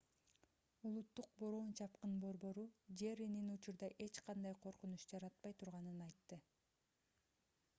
улуттук бороон-чапкын борбору nhc джерринин учурда эч кандай коркунуч жаратпай турганын айтты